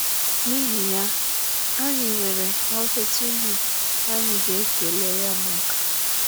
N'ihi ya, anyị nwere ọtụtụ ihe anyị ga-ekele ya maka.